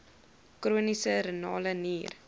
chroniese renale nier